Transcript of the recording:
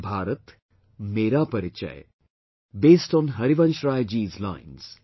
LoPN ru LoPN eu LoPN Hkkjr esjk ifjp; " based on Harivansh Rai Ji's lines